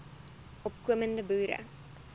opko mende boere